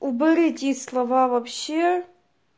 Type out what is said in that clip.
уберите слова вообще